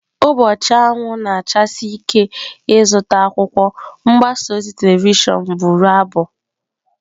Ụbọchị anwụ na-achasi ike ịzụta akwụkwọ"" mgbasa ozi telivishọn bụrụ abụ."